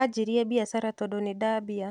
Ajirie biacara tondũ nindambia.